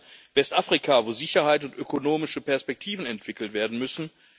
Ich denke an Westafrika, wo Sicherheit und ökonomische Perspektiven entwickelt werden müssen.